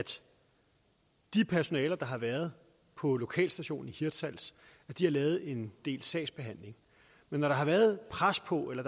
det personale der har været på lokalstationen i hirtshals har lavet en del sagsbehandling men når der har været pres på eller